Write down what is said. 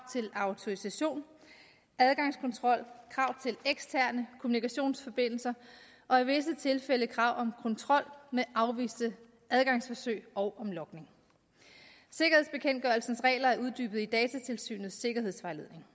til autorisation adgangskontrol krav til eksterne kommunikationsforbindelser og i visse tilfælde krav om kontrol med afviste adgangsforsøg og om logning sikkerhedsbekendtgørelsens regler er uddybet i datatilsynets sikkerhedsvejledning